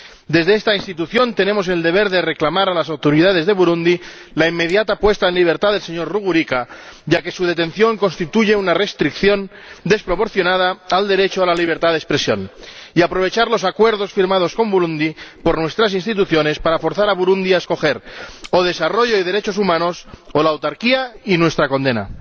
Desde esta institución tenemos el deber de reclamar a las autoridades de Burundi la inmediata puesta en libertad del señor Rugurika, ya que su detención constituye una restricción desproporcionada del derecho a la libertad de expresión, y de aprovechar los acuerdos firmados con Burundi por nuestras instituciones para forzar a Burundi a escoger o desarrollo y derechos humanos, o la autarquía y nuestra condena.